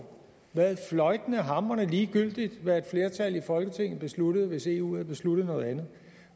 været fløjtende hamrende ligegyldigt hvad et flertal i folketinget besluttede hvis eu havde besluttet noget andet